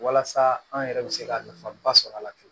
Walasa an yɛrɛ bɛ se ka nafaba sɔrɔ a la